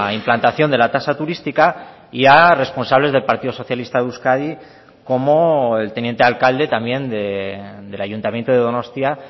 implantación de la tasa turística y a responsables del partido socialista de euskadi como el teniente alcalde también del ayuntamiento de donostia